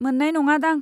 मोन्नाय नङादां।